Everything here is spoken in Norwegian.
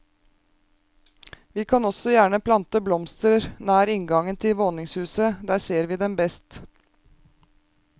Vi kan også gjerne plante blomster nær inngangen til våningshuset, der ser vi dem best.